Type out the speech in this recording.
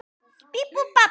Það er nafnið hans.